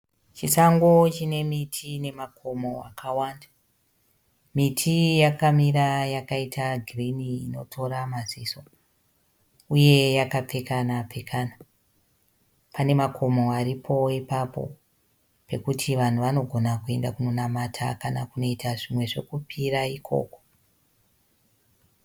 Chisango chine miti nemakomo akawanda. Miti iyi yakamira yakaita girini inotora maziso uye yakapfekana pfekana. Pane makomo aripo ipapo pekuti vanhu vanogona kuenda kunonamata kana kuita zvekupira ikoko.